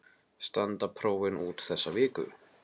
Standa prófin út þessa viku.